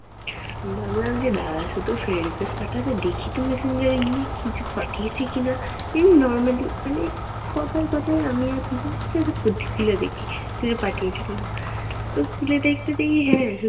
ভাবলাম যে দাঁড়া শুধু friend request পাঠাবে, দেখি তো messenger এ গিয়ে কিছু পাঠিয়েছে কি না। ইও normally মানে কথায় কথায় আমি আর ফিজা ঠিক আছে খুলে দেখি। পাঠিয়েছিস কি না। তো খুঁজে দেখতে দেখি হ্যাঁ